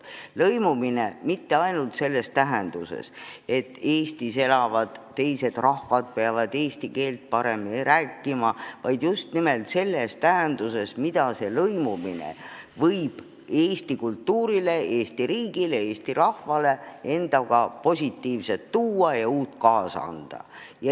Lõimumine mitte ainult selles mõttes, et Eestis elavad teised rahvad peavad eesti keelt paremini rääkima, vaid just nimelt selles mõttes, mida lõimumine võib Eesti kultuurile, Eesti riigile ja Eesti rahvale uut ja positiivset kaasa tuua.